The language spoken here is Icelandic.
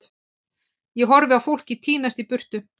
Ég horfi á fólkið tínast í burtu.